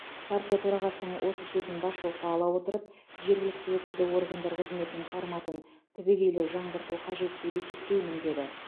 партия төрағасының осы сөзін басшылыққа ала отырып жергілікті өкілді органдар қызметінің форматын түбегейлі жаңғырту қажет деп есептеймін деді